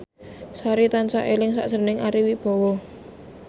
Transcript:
Sari tansah eling sakjroning Ari Wibowo